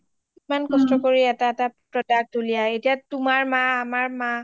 কিমান কষ্ট কৰি এটা এটা product ওলিয়াই তোমাৰ মা আমাৰ মা